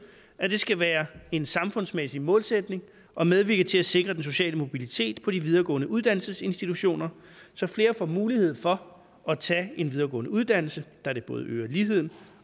at det skal være en samfundsmæssig målsætning at medvirke til at sikre den sociale mobilitet på de videregående uddannelsesinstitutioner så flere får mulighed for at tage en videregående uddannelse da det både øger ligheden